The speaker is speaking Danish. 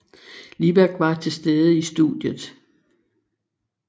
Libak var til stede i studiet